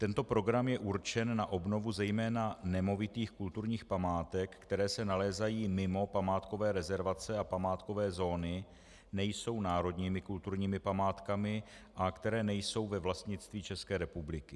Tento program je určen na obnovu zejména nemovitých kulturních památek, které se nalézají mimo památkové rezervace a památkové zóny, nejsou národními kulturními památkami a které nejsou ve vlastnictví České republiky.